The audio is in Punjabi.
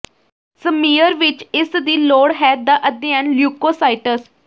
ਸਮੀਅਰ ਵਿਚ ਇਸ ਦੀ ਲੋੜ ਹੈ ਦਾ ਅਧਿਐਨ ਲਿਊਕੋਸਾਈਟਸ